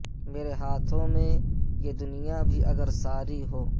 میرے ہاتھوں میں یہ دنیا بھی اگر ساری ہو